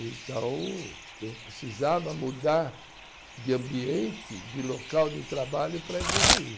Então, eu precisava mudar de ambiente, de local de trabalho para evoluir.